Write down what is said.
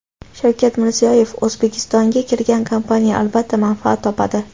Shavkat Mirziyoyev: O‘zbekistonga kirgan kompaniya, albatta, manfaat topadi.